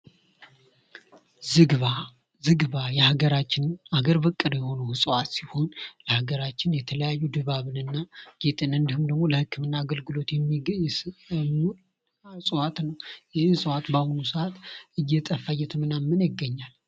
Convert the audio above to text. ዝግባ :- ዝግባ የሀገራችን አገር በቀልል የሆነ እፅዋት ሲሆን ለአገራችን የተለያዩ ድባብን እና ጌጥን እንዳሁም ለህክምና አገልግሎት የሚገኝና የሚሰጥ እፅዋት ነዉ። ይህ እፅዋት በአሁኑ እየጠፋ እየተመናመነ ይገኛል።